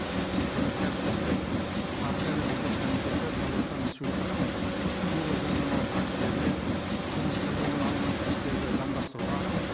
құрметті әріптестер қаржы және бюджет комитеті қазақстан республикасының кейбір заңнамалық актілеріне қылмыстық жолмен алынған кірістерді заңдастыруға